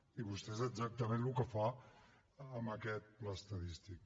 i vostè és exactament el que fa amb aquest pla estadístic